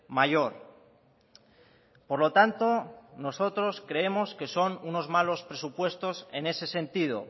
mayor por lo tanto nosotros creemos que son unos malos presupuestos en ese sentido